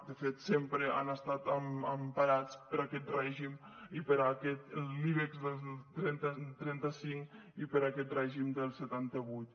de fet sempre han estat emparats per aquest règim per l’ibex trenta cinc i per aquest règim del setanta vuit